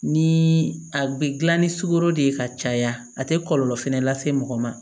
Ni a bɛ dilan ni sukoro de ye ka caya a tɛ kɔlɔlɔ fɛnɛ lase mɔgɔ ma